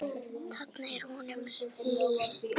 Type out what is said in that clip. Þarna er honum rétt lýst.